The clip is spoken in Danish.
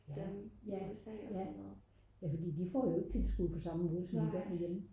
ja fordi de får jo ikke tilskud på samme måde som vi gør herhjemme